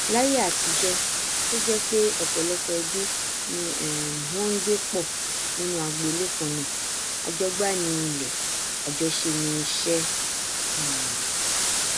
láíyé àtijọ tó jẹ pé ọpọlọpọ ẹbí ni um wọn ngbé pọ nínu agbolé kannáà àjọgbá ni ilẹ àjọṣe ni iṣẹ um